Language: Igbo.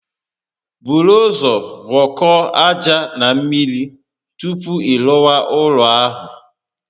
Buru ụzọ gwọkọọ aja na mmiri tupu ị rụwa ụlọ ahụ